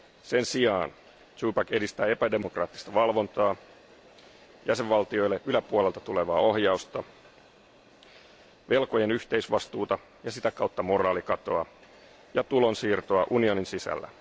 Sen sijaan edistää epädemokraattista valvontaa, jäsenvaltioille yläpuolelta tulevaa ohjausta, velkojen yhteisvastuuta ja sitä kautta moraalikatoa ja tulonsiirtoa unionin sisällä.